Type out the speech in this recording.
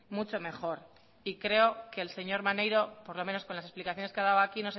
mucho mejor y creo que el señor maneiro por lo menos con las explicaciones que ha dado aquí